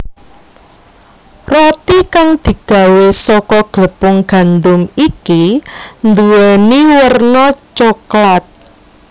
Roti kang digawé saka glepung gandum iki nduwèni werna coklat